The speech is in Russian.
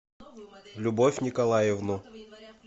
любовь николаевну